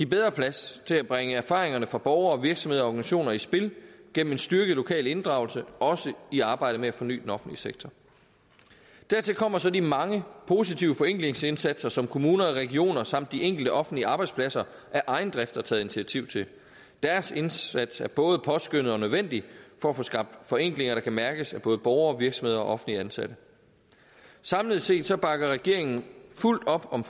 bedre plads til at bringe erfaringerne fra borgere og virksomheder og organisationer i spil gennem en styrket lokal inddragelse også i arbejdet med at forny den offentlige sektor dertil kommer så de mange positive forenklingsindsatser som kommuner og regioner samt de enkelte offentlige arbejdspladser af egen drift har taget initiativ til deres indsats er både påskønnet og nødvendig for at få skabt forenklinger der kan mærkes af både borgere virksomheder og offentligt ansatte samlet set bakker regeringen fuldt op om